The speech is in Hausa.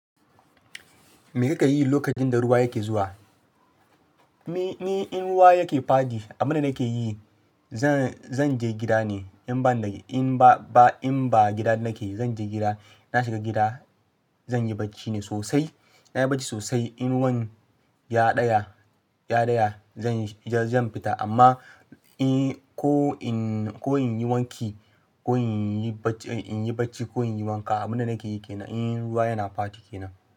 Me kake yi lokacin da ruwa yake zuwa? Ni in ruwa yake fadi abunda nake yi zan, zan je gida ne in ba in ba gida nake zan je gida. Na shiga gida zan yi bacci ne sosai. Na yi bacci sosai in ruwan ya ɗaya, ya ɗaya zan, zan fita amma in ko in ko in yi wanki ko in yi bacci in yi bacci ko in yi wanka abunda nake yi kenan in ruwa yana fadi kenan.